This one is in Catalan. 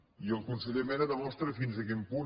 i el conseller mena demostra fins a quin punt